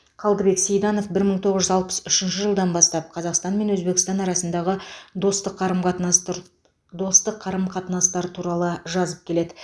қалдыбек сейданов бір мың тоғыз жүз алпыс үшінші жылдан бастап қазақстан мен өзбекстан арасындағы достық қарым қатынастур достық қарым қатынастар туралы жазып келеді